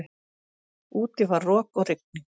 Úti var rok og rigning.